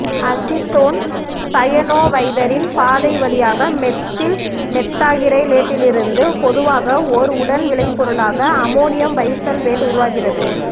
acetone சயனோவைதரின் பாதை வழியாக மெத்தில் மெத்தாகிரைலேட்டிலிருந்து பொதுவாக ஓர் உடன் விளைபொருளாக அமோனியம் பைசல்பேட்டு உருவாகிறது